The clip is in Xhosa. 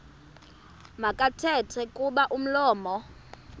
makathethe kuba umlomo